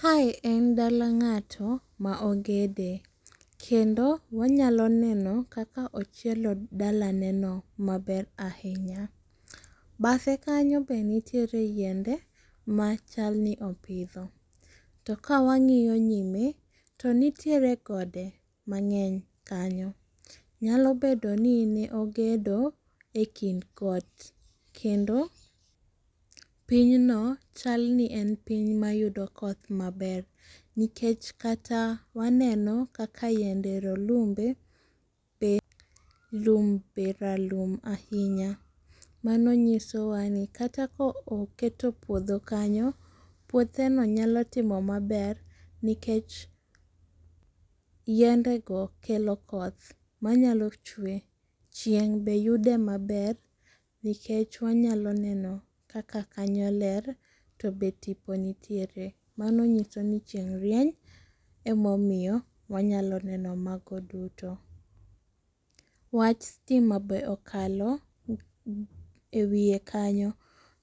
Kae en dala ng'ato maogede, kendo wanyalo neno kaka ochielo dala neno maber ahinya. Badhe kanyo be nitiere yiende machalni opitho. To kawang'iyo nyime to nitiere gode mang'eny kanyo, nyalo bedoni niogedo e kind got, kendo pinyno chalni en piny mayudo koth maber, nikech kata waneno kaka yiende rolumbe, be lum be ralum ahinya, mano nyisowa ni kata ka oketo puotho kanyo, puotheno nyalo timo maber nikech yiendego kelo koth manyalo chwe, chieng' beyude maber, nikech wanyalo neno kaka kanyo ler to be tipo nitiere. Mano nyisoni chieng' rieny emomiyo wanyalo neno mago duto. Wach stima be okalo e wie kanyo,